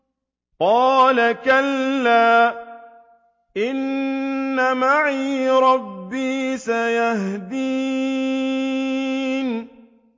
قَالَ كَلَّا ۖ إِنَّ مَعِيَ رَبِّي سَيَهْدِينِ